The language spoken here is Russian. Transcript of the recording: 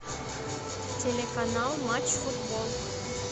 телеканал матч футбол